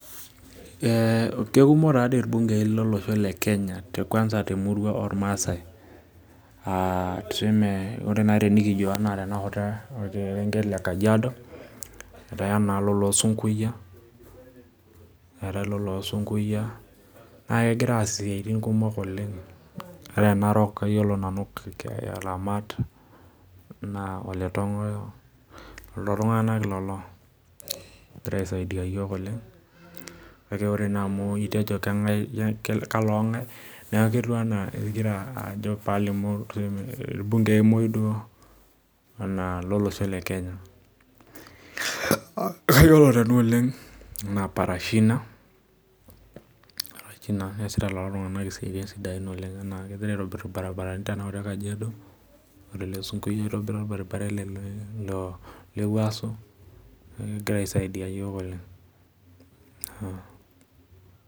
Ee kekumok irbungei tolosho le Kenya ekwanza irmaasai, ore enikijo orkerenket le kajiado etii na loloo Sunkuyia nakengira aas esiai sapuk oleng' ore tenarok na kayiolo Aramat, Tongoyo lolotung'anak lolo ogira aisaidia yiok oleng' kake ore amu itejo kalo ng'ae ketiu anaa palimu irbungei muj lolosho lekenya kayiolo nanu oleng' anaa Parashina keasita lolotung'anak esiai ashet irbaribarani ore ole Sunkuyia itobira irbaribarani lewuaso logira aisaidia yioK oleng'.